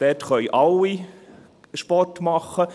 Dort können alle Sport machen.